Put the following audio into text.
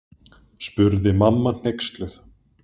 spurði mamma hneyksluð.